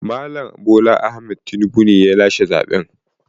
Mal. Bola Ahmaed Tinibu ne ya lashe zaɓen.